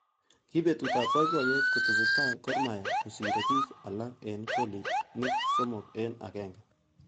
Kibetut ab boiboyet kotesetai Gormahia kosirei bik. alak eng kolinik somok eng agenge.